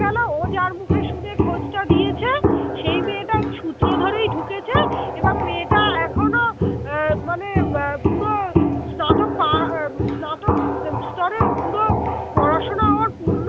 গেল ও যার মুখে শুনে খোঁজটা দিয়েছে সেই মেয়েটাও সূত্র ধরেই ঢুকেছে এবার মেয়েটা এখনো মানে বা পুরো স্নাতক পা স্নাতক স্তরে ও পুরো পড়াশোনা ওর